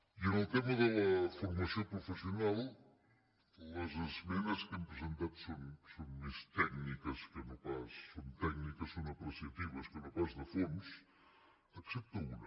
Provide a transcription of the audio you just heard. i en el tema de la formació professional les esmenes que hem presentat són més tècniques són tècniques són apreciatives que no pas de fons excepte una